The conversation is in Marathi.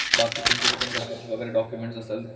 बाकी तुमचे जे पण घराचे डॉक्युमेंट असल